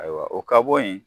Ayiwa o ka bɔ yen